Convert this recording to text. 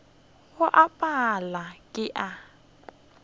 go a pala ke a